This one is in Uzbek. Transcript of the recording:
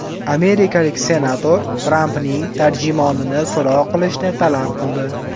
Amerikalik senator Trampning tarjimonini so‘roq qilishni talab qildi.